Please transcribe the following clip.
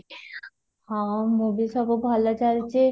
ହଁ, ମୁଁ ବି ସବୁ ଭଲ ଚାଲିଛି